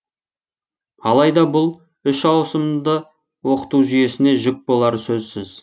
алайда бұл үш ауысымды оқыту жүйесіне жүк болары сөзсіз